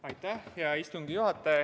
Aitäh, hea istungi juhataja!